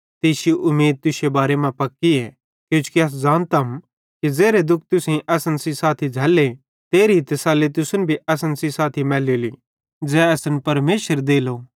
ते इश्शी उमीद तुश्शे बारे मां पक्कीए किजोकि अस ज़ानतम कि ज़ेरे दुःखन तुसेईं असन सेइं साथी झ़ैल्ले तेरी तसल्ली तुसन भी असन सेइं साथी मैलेली ज़ै असन परमेशर देलो